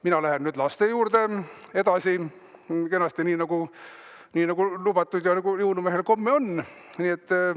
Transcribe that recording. Mina lähen nüüd kenasti edasi laste juurde, nii nagu lubatud ja jõulumehel komme on.